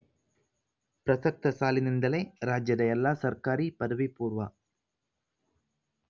ಪ್ರಸಕ್ತ ಸಾಲಿನಿಂದಲೇ ರಾಜ್ಯದ ಎಲ್ಲಾ ಸರ್ಕಾರಿ ಪದವಿಪೂರ್ವ